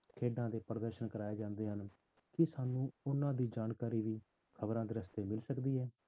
ਖੇਡਾਂ ਦੇ ਪ੍ਰਦਰਸ਼ਨ ਕਰਵਾਏ ਜਾਂਦੇ ਹਨ ਕੀ ਸਾਨੂੰ ਉਹਨਾਂ ਦੀ ਜਾਣਕਾਰੀ ਵੀ ਖ਼ਬਰਾਂ ਦੇ ਰਸਤੇ ਮਿਲ ਸਕਦੀ ਹੈ?